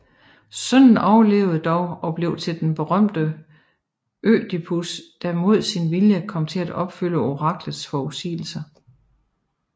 Sønnen overlevede dog og blev til den berømte Ødipus der mod sin vilje kom til at opfylde oraklets forudsigelse